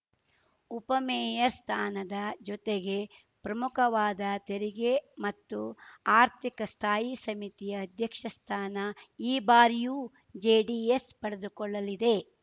ಉಪಮೇಯರ್‌ ಸ್ಥಾನದ ಜೊತೆಗೆ ಪ್ರಮುಖವಾದ ತೆರಿಗೆ ಮತ್ತು ಆರ್ಥಿಕ ಸ್ಥಾಯಿ ಸಮಿತಿ ಅಧ್ಯಕ್ಷ ಸ್ಥಾನ ಈ ಬಾರಿಯೂ ಜೆಡಿಎಸ್‌ ಪಡೆದುಕೊಳ್ಳಲಿದೆ